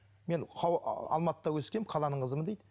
мен алматыда өскенмін қаланың қызымын дейді